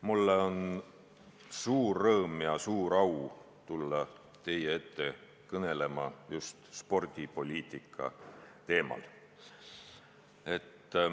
Mul on suur rõõm ja suur au tulla teie ette kõnelema just spordipoliitika teemal.